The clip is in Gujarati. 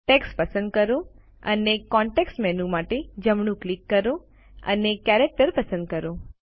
ટેક્સ્ટ પસંદ કરો અને કોન્ટેક્ષ મેનૂ માટે જમણું ક્લિક કરો અને કેરેક્ટર પસંદ કરો